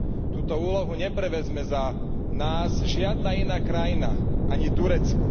Túto úlohu neprevezme za nás žiadna iná krajina, ani Turecko.